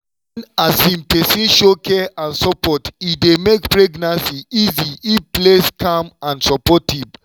wen um person show care and support e dey make pregnancy easy if place calm and supportive.